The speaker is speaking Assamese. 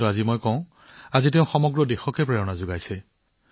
কিন্তু আজি মই কব বিচাৰো তেওঁ সমগ্ৰ দেশক অনুপ্ৰাণিত কৰিছে